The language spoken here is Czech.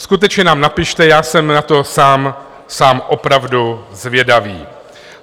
Skutečně nám napište, já jsem na to sám opravdu zvědavý.